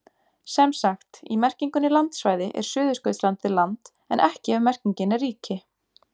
Sem sagt, í merkingunni landsvæði er Suðurskautslandið land en ekki ef merkingin er ríki.